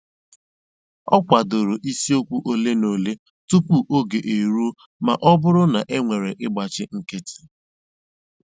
Ọ kwàdòrè ìsìòkwụ́ òlé na òlé tupu ógè èrùó mà ọ́ bụ́rụ́ na ènwèrè ị̀gbáchì nkìtì.